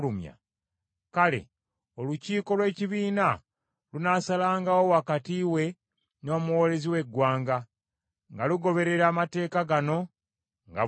kale, olukiiko lw’ekibiina lunaasalangawo wakati we n’omuwoolezi w’eggwanga, nga lugoberera amateeka gano nga bwe gali.